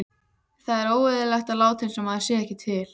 Það er óeðlilegt að láta einsog maður sé ekki til.